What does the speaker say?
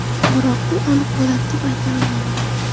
Biroq bu aniq bo‘ladi deb ayta olmayman.